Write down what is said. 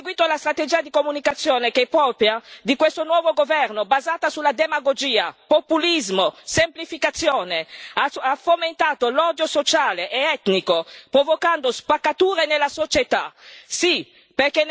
Salvini ha seguito la strategia di comunicazione che è propria di questo nuovo governo, basata sulla demagogia, sul populismo, sulla semplificazione e ha fomentato l'odio sociale ed etnico, provocando spaccature nella società.